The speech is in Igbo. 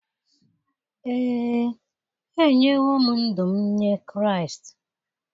Ee, enyewo m ndụ m nye Kraịst.